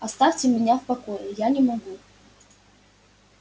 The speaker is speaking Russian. оставьте меня в покое я не могу